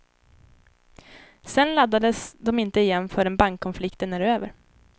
Sedan laddas de inte igen förrän bankkonflikten är över.